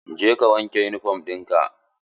Je ka wanke yunifom ɗin ka!